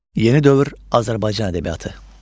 Yeni dövr Azərbaycan ədəbiyyatı.